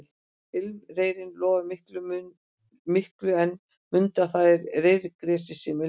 Ilmreyrinn lofar miklu en mundu að það er reyrgresið sem ilmar